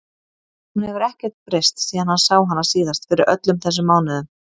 Hún hefur ekkert breyst síðan hann sá hana síðast fyrir öllum þessum mánuðum.